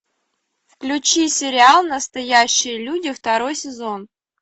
включи сериал настоящие люди второй сезон